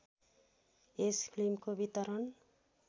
यस फिल्मको वितरण